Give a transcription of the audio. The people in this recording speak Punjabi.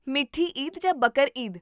ਮਿੱਠੀ ਈਦ ਜਾਂ ਬਕਰ ਈਦ?